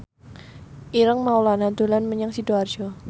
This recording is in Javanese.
Ireng Maulana dolan menyang Sidoarjo